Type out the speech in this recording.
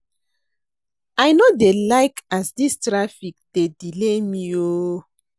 I no dey like as dis traffic dey delay me o.